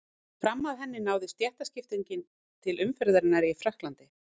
Fram að henni náði stéttaskiptingin til umferðarinnar í Frakklandi.